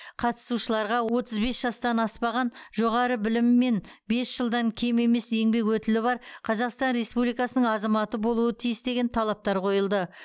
қатысушыларға отыз бес жастан аспаған жоғары білімі және бес жылдан кем емес еңбек өтілі бар қазақстан республикасының азаматы болуы тиіс деген талаптар қойылды